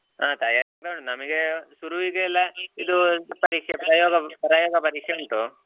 ಹಾ ತಯಾರಿ ಆಗ್ತಾ ಉಂಟು ನಮಗೆ ಶುರುವಿಗೆ ಎಲ್ಲಾ ಇದು ಪರೀಕ್ಷೆ ಪ್ರಯೋಗ ಪ್ರಯೋಗ ಪರೀಕ್ಷೆ ಉಂಟು